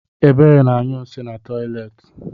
Ebube na-anyụ nshi n'toịletị.